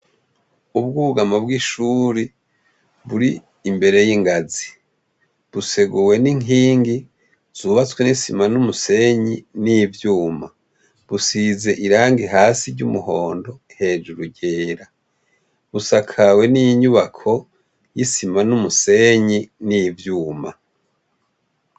Ubwugamo bw'ishuri buri imbere y'ingazi , buseguwe n'inkingi zubatswe n'isima n'umusenyi n'ivyuma, busize irangi hasi ry'umuhondo hejuru ryera, busakawe n'inyubako y'isima n'umusenyi n'ivyuma.